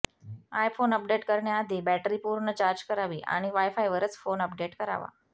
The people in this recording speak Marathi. आयफोन अपडेट करण्याआधी बॅटरी पूर्ण चार्ज करावी आणि वायफायवरच फोन अपडेट करावा